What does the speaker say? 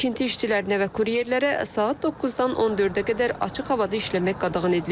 Tikinti işçilərinə və kuryerlərə saat 9-dan 14-ə qədər açıq havada işləmək qadağan edilib.